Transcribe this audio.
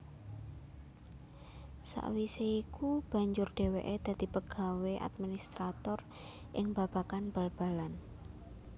Sawisé iku banjur dhéwéké dadi pegawé administrator ing babagan bal balan